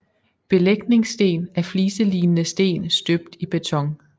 Belægningssten er fliselignende sten støbt i beton